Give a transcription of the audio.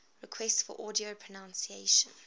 requests for audio pronunciation